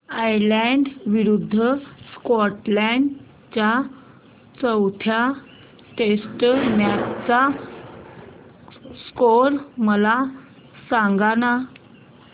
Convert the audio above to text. Ireland विरूद्ध Scotland च्या चौथ्या टेस्ट मॅच चा स्कोर मला सांगना